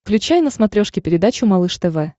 включай на смотрешке передачу малыш тв